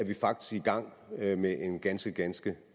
vi faktisk i gang med med en ganske ganske